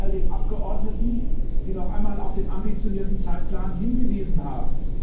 Ich danke all den Abgeordneten, die noch einmal auf den ambitionierten Zeitplan hingewiesen haben.